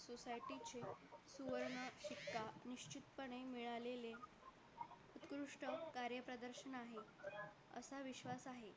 पणे मिळालेले उत्कृष्ट कार्यप्रदर्शन आहे असा विश्वास आहे